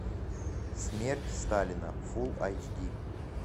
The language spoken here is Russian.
смерть сталина фулл эйч ди